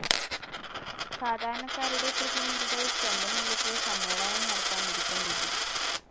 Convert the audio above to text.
സാധാരണക്കാരുടെ പ്രതിനിധികൾ സ്വന്തം നിലക്ക് സമ്മേളനം നടത്താൻ ഒരുക്കം കൂട്ടി.